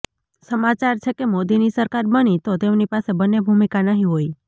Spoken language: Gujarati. સમાચાર છેકે મોદીની સરકાર બની તો તેમની પાસે બન્ને ભૂમિકા નહીં હોય